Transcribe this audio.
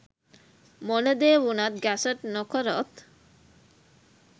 මොන දේ වුනත් ගැසට් නොකරොත්